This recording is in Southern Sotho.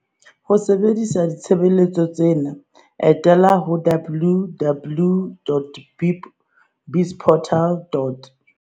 Ho sebedisa ditshebeletso tsena, etela www.bizportal.